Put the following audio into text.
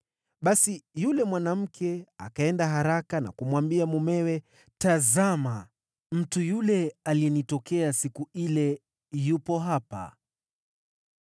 Basi yule mwanamke akaenda haraka na kumwambia mumewe, “Tazama mtu yule aliyenitokea siku ile yupo hapa!”